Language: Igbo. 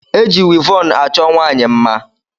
Eji wivọn a chọọ nwaanyị mma.